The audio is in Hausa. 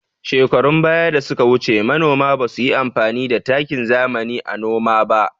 Shekarun ɓaya da suka wuce, manoma ba su yi amfani da takin zamani a noma ba.